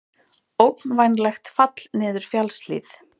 Ógnvænlegt fall niður fjallshlíð